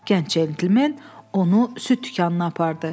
Gənc centlmen onu süd dükanına apardı.